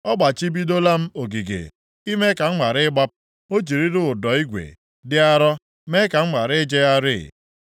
Ọ gbachibidola m ogige, ime ka m ghara ịgbapụ; o jirila ụdọ igwe dị arọ mee ka m ghara ijegharị.